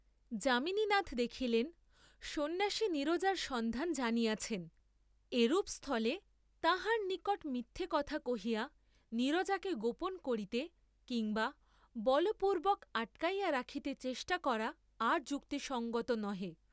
যামিনীনাথ দেখিলেন সন্ন্যাসী নীরজার সন্ধান জানিয়ছেন, এরূপ স্থলে তাঁহার নিকট মিথ্যা কথা কহিয়া নীরজাকে গোপন করিতে কিম্বা বলপূর্ব্বক আটকাইয়া রাখিতে চেষ্টা করা আর যুক্তিসঙ্গত নহে।